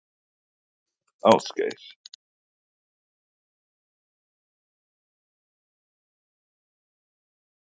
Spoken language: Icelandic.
Ásgeir: Það er engin exi sem fer með ykkur eða sög?